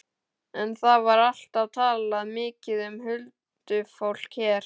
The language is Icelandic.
En það var alltaf talað mikið um huldufólk hér.